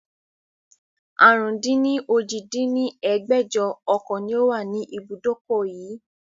àrún-dín-ní-ojì dín ní ẹgbẹ́jọ ọkọ̀ ni ó wà ní ibùdókọ̀ yii